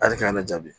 Ali k'an ka jaabi